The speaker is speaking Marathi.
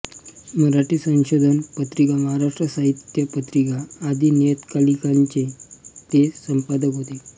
मराठी संशोधन पत्रिका महाराष्ट्र साहित्य पत्रिका आदी नियतकालिकांचे ते संपादक होते